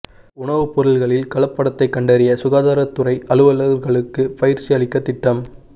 உணவுப் பொருள்களில் கலப்படத்தைக் கண்டறிய சுகாதாரத் துறை அலுவலா்களுக்கு பயிற்சி அளிக்கத் திட்டம்